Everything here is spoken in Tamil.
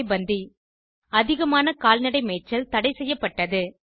சரை பந்தி அதிகமான கால்நடை மேய்ச்சல் தடைசெய்யப்பட்டது